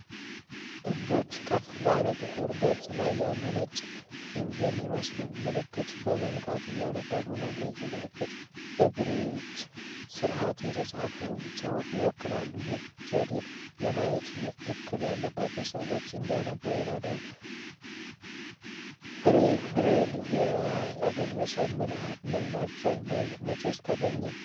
እጆች ከፍ ባለ ጥቁር ገጽ ላይ ያሉ ነጭ ፒን የሚመስሉ ምልክቶችን በመንካት እያነበቡ ነው። እነዚህ ምልክቶች በብሬይል ስርዓት የተጻፈ ጽሑፍን ይወክላሉ። ይህ ዘዴ የማየት እክል ያለባቸው ሰዎች እንዲያነቡ ይረዳል። ብሬይልን ያገኙት ሰው ማን ናቸውና መቼ ተገኘ?